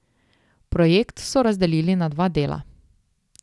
Projekt so razdelili na dva dela.